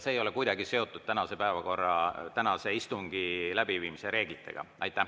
See ei ole kuidagi seotud tänase päevakorraga, tänase istungi läbiviimise reeglitega.